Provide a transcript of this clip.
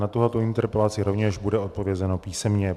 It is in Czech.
Na tuto interpelaci rovněž bude odpovězeno písemně.